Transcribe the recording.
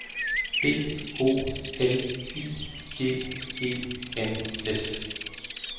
B O L I G E N S